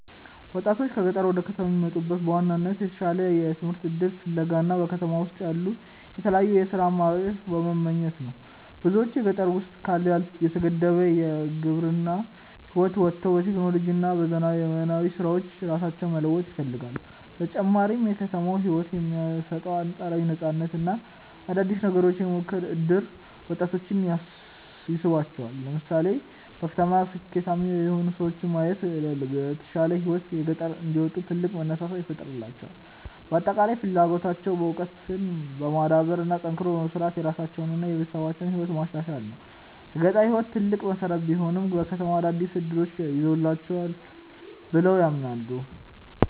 ወጣቶች ከገጠር ወደ ከተማ የሚመጡት በዋናነት የተሻለ የትምህርት እድል ፍለጋ እና በከተማ ውስጥ ያሉ የተለያዩ የሥራ አማራጮችን በመመኘት ነው። ብዙዎች በገጠር ውስጥ ካለው የተገደበ የግብርና ህይወት ወጥተው በቴክኖሎጂ እና በዘመናዊ ስራዎች ራሳቸውን መለወጥ ይፈልጋሉ። በተጨማሪም የከተማው ህይወት የሚሰጠው አንፃራዊ ነፃነት እና አዳዲስ ነገሮችን የመሞከር እድል ወጣቶችን ይስባቸዋል። ለምሳሌ በከተማ ስኬታማ የሆኑ ሰዎችን ማየታቸው ለተሻለ ህይወት ከገጠር እንዲወጡ ትልቅ መነሳሳት ይፈጥርላቸዋል። በአጠቃላይ ፍላጎታቸው እውቀትን በማዳበር እና ጠንክሮ በመስራት የራሳቸውንና የቤተሰባቸውን ህይወት ማሻሻል ነው። የገጠር ህይወት ትልቅ መሰረት ቢሆንም፣ ከተማው አዳዲስ እድሎችን ይዞላቸዋል ብለው ያምናሉ።